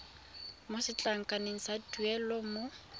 mo setlankaneng sa tuelo mo